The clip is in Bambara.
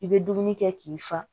I bɛ dumuni kɛ k'i fa